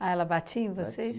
Ah, ela batia em vocês?